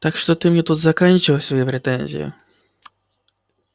так что ты мне тут заканчивай свои претензии